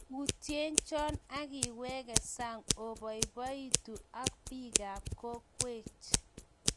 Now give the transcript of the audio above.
Yutien cho ikiwek saang iboiboitu ak bikaab kokweej.